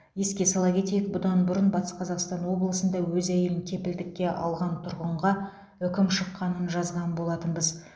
еске сала кетейік бұдан бұрын батыс қазақстан облысында өз әйелін кепілдікке алған тұрғынға үкім шыққанын жазған болатынбыз